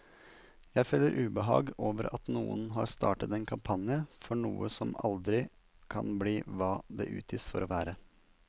Jeg føler ubehag over at noen har startet en kampanje for noe som aldri kan bli hva det utgis for å være.